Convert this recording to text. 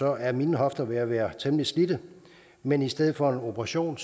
er mine hofter ved at være temmelig slidte men i stedet for en operation